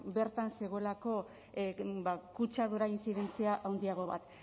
bertan zegoelako ba kutsadura intzidentzia haundiago bat